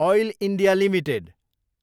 oil India Ltd